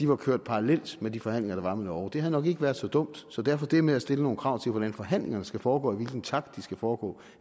var kørt parallelt med de forhandlinger der var med norge havde det nok ikke været så dumt så derfor er det med at stille nogle krav til hvordan forhandlingerne skal foregå og i hvilken takt de skal foregå